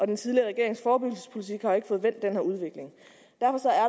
den tidligere regerings forebyggelsespolitik har ikke fået vendt den her udvikling